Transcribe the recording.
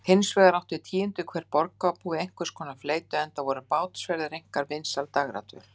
Hinsvegar átti tíundi hver borgarbúi einhverskonar fleytu, enda voru bátsferðir einkar vinsæl dægradvöl.